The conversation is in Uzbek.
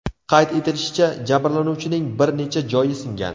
Qayd etilishicha, jabrlanuvchining bir necha joyi singan.